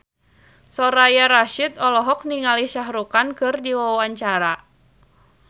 Soraya Rasyid olohok ningali Shah Rukh Khan keur diwawancara